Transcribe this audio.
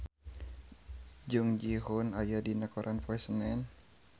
Jung Ji Hoon aya dina koran poe Senen